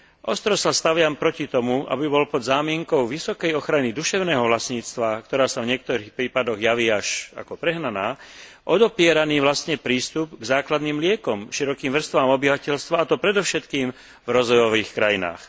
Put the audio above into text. Ostro sa staviam proti tomu, aby bol pod zámienkou vysokej ochrany duševného vlastníctva, ktorá sa v niektorých prípadoch javí až ako prehnaná, odopieraný vlastne prístup k základným liekom širokým vrstvám obyvateľstva, a to predovšetkým v rozvojových krajinách.